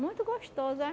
Muito gostoso, eh?